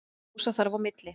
Kjósa þarf á milli.